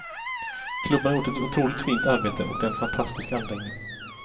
Klubben har gjort ett otroligt fint arbete och det är en fantastisk anläggning.